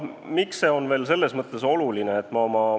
Miks see on oluline?